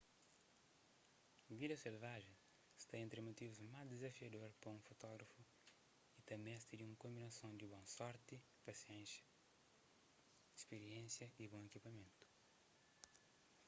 vida selvajen sta entri motivus más dizafiador pa un fotógrafu y ta meste di un konbinason di bon sorti pasiénsia spiriénsia y bon ekipamentu